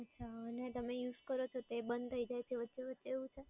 અચ્છા અને તમે USE કરો છો તે બંધ થાય છે વચ્ચે વચ્ચે એવું છે?